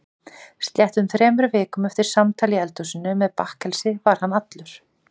Sléttum þremur vikum eftir samtal í eldhúsinu með bakkelsi var hann allur.